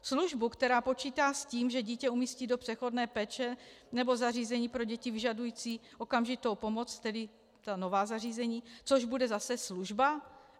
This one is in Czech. Službu, která počítá s tím, že dítě umístí do přechodné péče nebo zařízení pro děti vyžadující okamžitou pomoc, tedy ta nová zařízení, což bude zase služba.